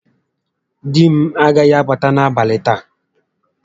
Di m agaghị abata n'abalị taa